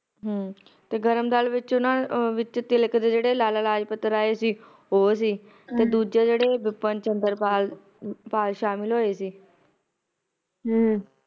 ਹਮ ਤੇ ਗਰਮ ਦਲ ਵਿਚ ਓਹਨਾ ਵਿਚ ਤਿਲਕ ਦੇ ਜਿਹੜੇ ਲਾਲਾ ਲਾਜਪਤ ਰਾਏ ਸੀ ਉਹ ਸੀ ਹਮ ਤੇ ਦੂਜੇ ਜਿਹੜੇ ਵਿਪਿਨ ਚੰਦਰ ਪਾਲ ਸ਼ਾਮਿਲ ਹੋਏ ਸੀ ਹਮ